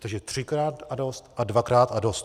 Takže třikrát a dost a dvakrát a dost.